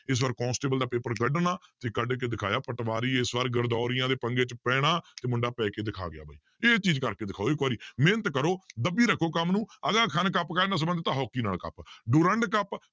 ਇਸ ਵਾਰ ਕੋਂਸਟੇਬਲ ਦਾ ਪੇਪਰ ਕੱਢਣਾ ਤੇ ਕੱਢ ਕੇ ਦਿਖਾਇਆ ਪਟਵਾਰੀ ਇਸ ਵਾਰ ਗਰਦੋਰੀਆਂ ਦੇ ਪੰਗੇ 'ਚ ਪੈਣਾ ਤੇ ਮੁੰਡਾ ਪੈ ਕੇ ਦਿਖਾ ਗਿਆ ਬਾਈ, ਇਹ ਚੀਜ਼ ਕਰਕੇ ਦਿਖਾਓ ਇੱਕ ਵਾਰੀ ਮਿਹਨਤ ਕਰੋ ਦੱਬੀ ਰੱਖੋ ਕੰਮ ਨੂੰ ਕੱਪ ਕਾਹਦੇ ਨਾਲ ਸੰਬੰਧਤ ਆ ਹਾਕੀ ਨਾਲ ਕੱਪ, ਡੁਰੰਡ ਕੱਪ